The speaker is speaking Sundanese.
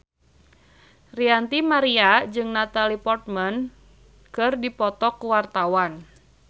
Ranty Maria jeung Natalie Portman keur dipoto ku wartawan